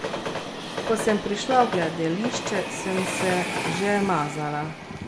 Ko sem prišla v gledališče, sem se že mazala.